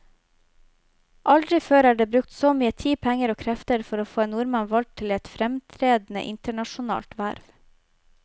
Aldri før er det brukt så mye tid, penger og krefter for å få en nordmann valgt til et fremtredende internasjonalt verv.